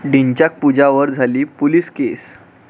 ढिंच्याक पूजावर झाली 'पोलीस केस'